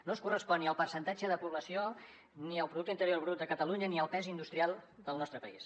no es correspon ni amb el percentatge de població ni amb el producte interior brut de catalunya ni amb el pes industrial del nostre país